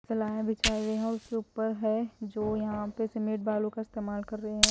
सलाहे बिछाये हुई है और उसके ऊपर है जो यहां पे सीमेंट बालू का इस्तेमाल कर रहे हैं।